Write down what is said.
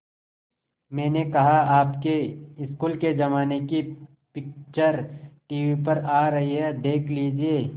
मैंने कहा आपके स्कूल के ज़माने की पिक्चर टीवी पर आ रही है देख लीजिये